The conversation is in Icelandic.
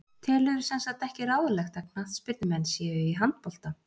Telurðu semsagt ekki ráðlegt að knattspyrnumenn séu í handbolta?